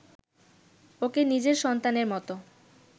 ওকে নিজের সন্তানের মতো